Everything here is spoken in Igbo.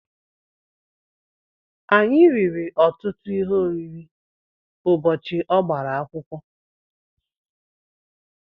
Anyị riri ọtụtụ ihe oriri ụbọchị ọ gbara akwụkwọ.